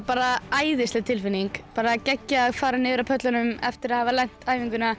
bara æðisleg tilfinning geggjað að fara niður af pöllunum eftir æfinguna